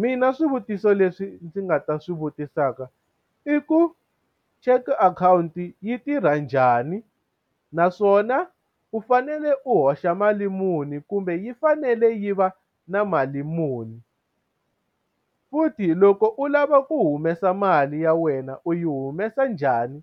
Mina swivutiso leswi ndzi nga ta swi vutisaka i ku cheque akhawunti yi tirha njhani naswona u fanele u hoxa mali muni kumbe yi fanele yi va na mali muni u futhi loko u lava ku humesa mali ya wena u yi humesa njhani